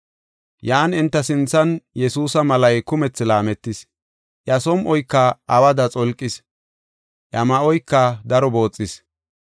Yan enta sinthan Yesuusa malay kumethi laametis; iya som7oyka awada xolqis. Iya ma7oyka daro booxis.